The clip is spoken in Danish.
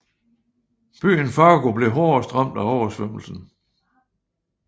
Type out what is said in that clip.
Byen Fargo blev hårdest ramt af oversvømmelsen